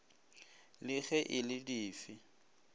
le ge e le dife